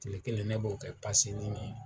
Tile kelen ne b'o kɛ